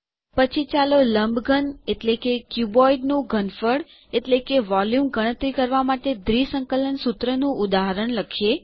પછી ચાલો લંબઘન ક્યુબોઇડનું ઘનફળ વોલ્યુમ ગણતરી કરવાં માટે દ્વિસંકલન સુત્રનું ઉદાહરણ લખીએ